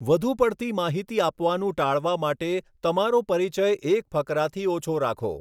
વધુ પડતી માહિતી આપવાનું ટાળવા માટે તમારો પરિચય એક ફકરાથી ઓછો રાખો.